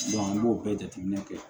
an b'o bɛɛ jateminɛ kɛ